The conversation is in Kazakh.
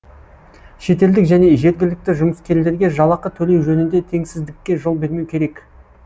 шетелдік және жергілікті жұмыскерлерге жалақы төлеу жөнінде теңсіздікке жол бермеу керек